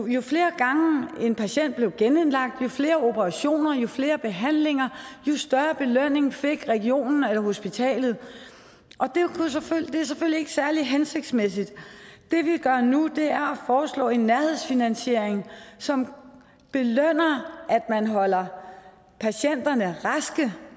jo flere gange en patient blev genindlagt jo flere operationer jo flere behandlinger jo større belønning fik regionen eller hospitalet det er selvfølgelig ikke særlig hensigtsmæssigt det vi gør nu er at foreslå en nærhedsfinansiering som belønner at man holder patienterne raske